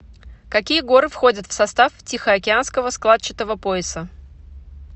какие горы входят в состав тихоокеанского складчатого пояса